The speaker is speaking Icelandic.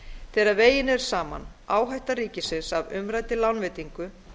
þegar vegin er áhætta ríkisins af umræddri lánveitingu